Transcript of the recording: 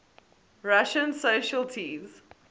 russian socialites